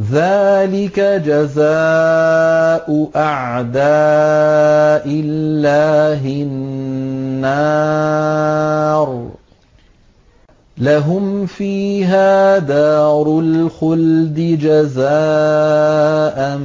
ذَٰلِكَ جَزَاءُ أَعْدَاءِ اللَّهِ النَّارُ ۖ لَهُمْ فِيهَا دَارُ الْخُلْدِ ۖ جَزَاءً